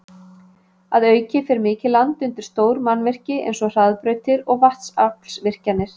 Að auki fer mikið land undir stór mannvirki eins og hraðbrautir og vatnsaflsvirkjanir.